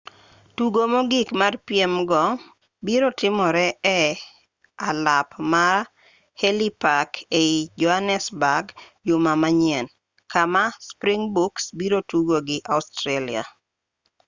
tugo mogik mar piem go biro timore e alap ma elli park ei johanesburg juma manyien kama springbooks biro tugo gi australia